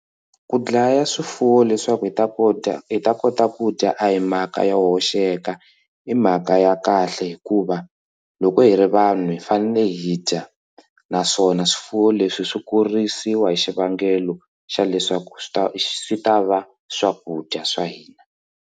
Ku dlaya swifuwo leswaku hi ta ku dya hi ta kota ku dya a hi mhaka yo hoxeka i mhaka ya kahle hikuva loko hi ri vanhu hi fanele hi dya naswona swifuwo leswi swi kurisiwa hi xivangelo xa leswaku swi ta swi ta va swakudya swa hina.